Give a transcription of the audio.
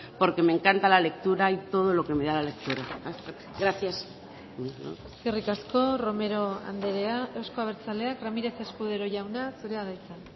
porque me encanta la lectura y todo lo que me da la lectura gracias eskerrik asko romero andrea euzko abertzaleak ramírez escudero jauna zurea da hitza